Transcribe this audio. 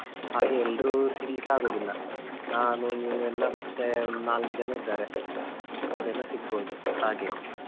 ಹಾಗೆ ಎಲ್ರು ಸಿಗ್ಲಿಕ್ಕೆ ಆಗುದಿಲ್ಲಾ ನಾನು ನೀವೆಲ್ಲಾ ಮತ್ತೇ ಒಂದ್ ನಾಲ್ಕು ಜನ ಇದ್ದಾರೆ ಅವ್ರೆಲ್ಲಾ ಸಿಗ್ಬೋದು ಹಾಗೆ.